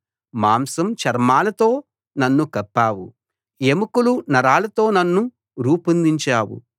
మాంసం చర్మాలతో నన్ను కప్పావు ఎముకలు నరాలతో నన్ను రూపొందించావు